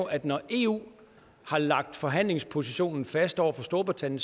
at når eu har lagt forhandlingspositionen fast over for storbritannien